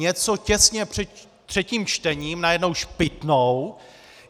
Něco těsně před třetím čtením najednou špitnou.